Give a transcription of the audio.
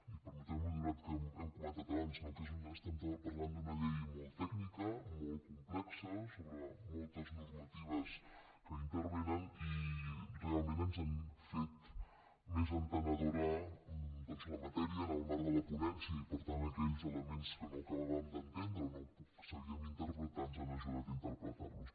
i permeteu m’ho i com que ho hem comentat abans no estem parlant d’una llei molt tècnica molt complexa sobre moltes normatives que intervenen realment ens han fet més entenedora doncs la matèria en el marc de la ponència i per tant aquells elements que no acabàvem d’entendre o no sabíem interpretar ens han ajudat a interpretar los